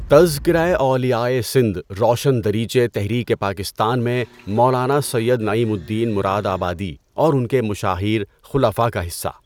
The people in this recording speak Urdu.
تذکرہ اولیاءِ سندھ روشن دریچے تحریکِ پاکستان میں مولانا سید نعیم الدین مرادآبادی اور ان کے مشاہیر خلفاء کا حصہ۔